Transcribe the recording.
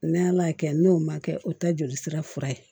N'ala y'a kɛ n'o ma kɛ o ta joli sira fura ye